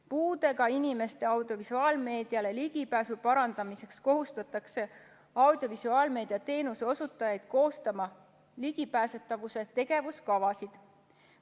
Puudega inimeste audiovisuaalmeediale ligipääsu parandamiseks kohustatakse audiovisuaalmeedia teenuse osutajaid koostama ligipääsetavuse tegevuskavasid.